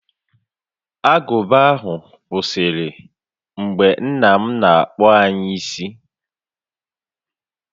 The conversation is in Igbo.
Agụba ahụ kwụsịrị mgbe nna m na-akpụ anyị ntutu isi